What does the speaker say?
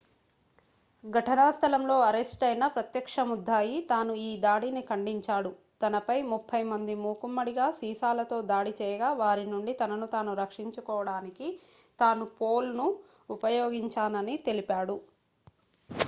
ఘటనా స్థలంలో అరెస్ట్ అయిన ప్రత్యక్ష ముద్దాయి తాను ఈ దాడిని ఖండించాడు తనపై ముప్పై మంది మూకుమ్మడిగా సీసాలతో దాడి చేయగా వారి నుండి తనను తాను రక్షించుకోవడానికి తాను పోల్ను ఉపయోగించానని తెలిపాడు